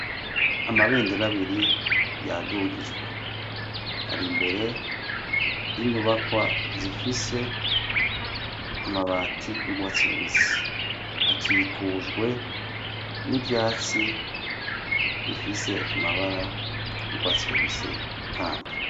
Amabendera abiri yadugijwe. Ari imbere y'inyubakwa zifise amabati y'urwatsi rubisi. Hakikujwe n'ivyatsi bifise amabara y'urwatsi rubisi kandi.